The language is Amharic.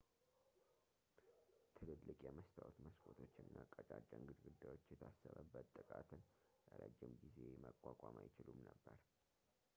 ትልልቅ የመስታወት መስኮቶች እና ቀጫጭን ግድግዳዎች የታሰበበት ጥቃትን ለረጅም ጊዜ መቋቋም አይችሉም ነበር